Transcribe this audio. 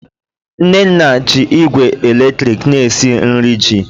nnenna ji igwe eletrik na-esi nri ji